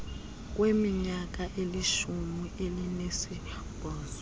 kweminyaka elishumi elinesibhozo